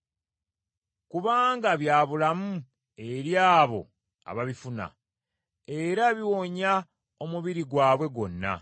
kubanga bya bulamu eri abo ababifuna, era biwonya omubiri gwabwe gwonna.